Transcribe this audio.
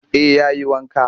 Eh ya yi wanka